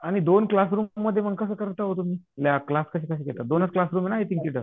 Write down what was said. आणि मग दोन क्लासरूममधी कास करता हो तुम्ही क्लास कश्या घेतात दोनच कलासरूम आहे ना आई थिक तिथं